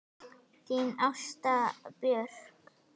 Þín Ásta Björk.